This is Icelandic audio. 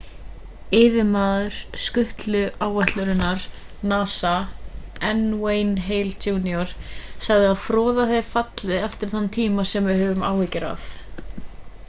yfirmaður skutluáætlunar nasa n wayne hale jr sagði að froðan hefði fallið eftir þann tíma sem við höfum áhyggjur af